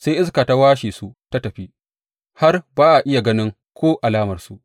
Sai iska ta kwashe su ta tafi, har ba a iya ganin ko alamarsu.